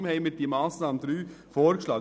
Darum haben wir den Antrag 3 vorgeschlagen.